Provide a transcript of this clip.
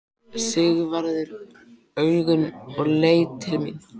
Sigvarður augun og leit til mín.